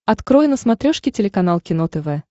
открой на смотрешке телеканал кино тв